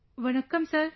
Vanakkam sir